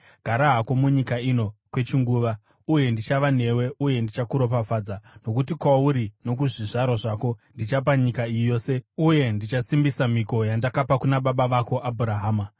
Gara hako munyika ino kwechinguva, uye ndichava newe uye ndichakuropafadza. Nokuti kwauri nokuzvizvarwa zvako ndichapa nyika iyi yose uye ndichasimbisa mhiko yandakapika kuna baba vako Abhurahama.